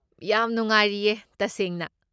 ꯌꯥꯝ ꯅꯨꯡꯉꯥꯏꯔꯤꯌꯦ, ꯇꯁꯦꯡꯅ꯫